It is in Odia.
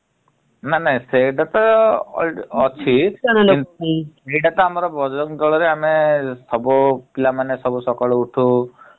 ନା ନା ସେଇଟା ତ ଅଛି ଏଇଟାତ ଆମ ବଜରଙ୍ଗ ଦଳରେ ଆମେ ସବୁ ପିଲାମାନେ ସବୁ ସକାଳୁ ଉଠୁ ।